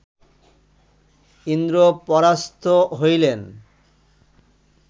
ইন্দ্র পরাস্ত হইলেন